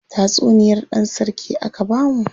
Tatsuniyar dan sarki aka bamu.